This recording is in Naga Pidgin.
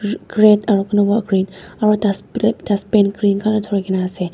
red aro kunuba green aro dus dustbin green colour thurikena ase.